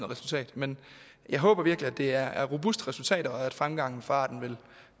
resultat men jeg håber virkelig at det er robuste resultater og at fremgangen for arten